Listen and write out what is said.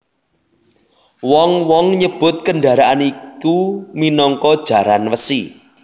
Wong wong nyebut kendharaan iku minangka jaran wesi